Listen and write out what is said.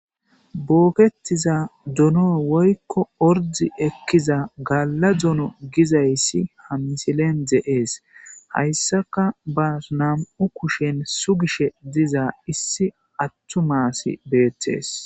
bookettiza duno woykko ordi ekkiza galla dono gizayssi ha misilen de7ees hayssaka ba nam7u kushen sugishe diza issi attu maasi beettees